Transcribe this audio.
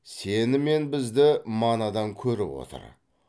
сені мен бізді манадан көріп отыр